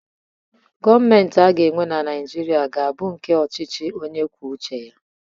Gọmentị aga enwe na Naijiria ga bụ nke ọchichi onye kwọ ụche ya.